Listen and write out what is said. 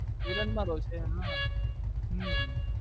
villain માં role છે એમનો હમ